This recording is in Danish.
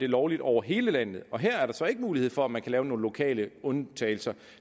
lovligt over hele landet og her er der så ikke mulighed for at man kan lave nogle lokale undtagelser